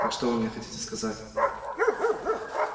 так что вы мне хотите сказать